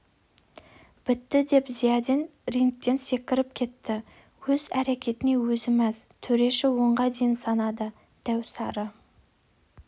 бітті деп зиядин рингтен секіріп кетті өз әрекетіне өзі мәз төреші онға дейін санады дәу сары